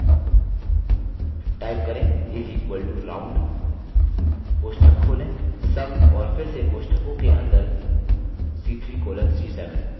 type करें is equal to round कोष्ठक खोलें sum और फिर से कोष्ठकों के अंदर c3 colon c7